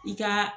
I ka